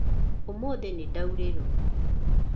Ũmũthĩ nĩndaurĩrwo.